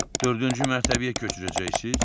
Dördüncü mərtəbəyə köçürəcəksiz?